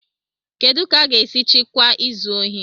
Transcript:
Kedu ka a ga-esi chịkwaa izu ohi?